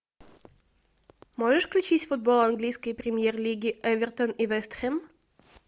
сожешь включить футюол английской премьер лиги эвертон и вест хэм